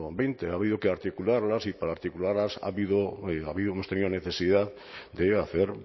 veinte ha habido que articularlas y para articularlas ha habido ha habido hemos tenido necesidad de hacer